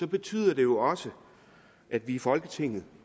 betyder det også at vi i folketinget